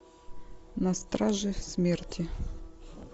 на страже смерти